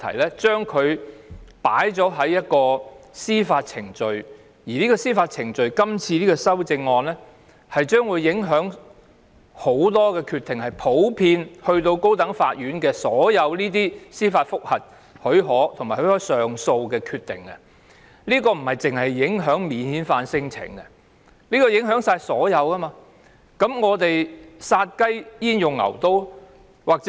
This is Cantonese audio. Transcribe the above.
這項修正案修訂有關的司法程序，將會影響很多決定，包括由高等法院處理的司法覆核許可和上訴，不單影響免遣返聲請案件，還會影響所有案件。殺雞焉用牛刀？